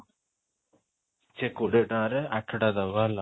ସେ କୋଡିଏ ଟଙ୍କାରେ ଆଠଟା ଦବ ହେଲା